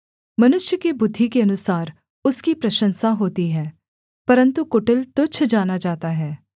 मनुष्य की बुद्धि के अनुसार उसकी प्रशंसा होती है परन्तु कुटिल तुच्छ जाना जाता है